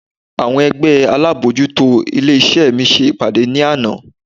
Àwọn ẹgbẹ́ alábojútó ilé iṣẹ́ mi ṣe ìpàdé ní àná.